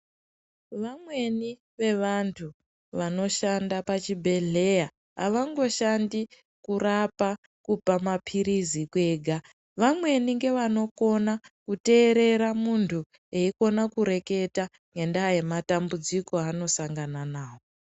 Vamweni vevantu vanoshanda pazvibhedhlera avangoshandi kurapa mapirizi kwega vamweni ndovanokona kuterera munhu eikona kureketa ngenda yematambudziko yanosangana nawo.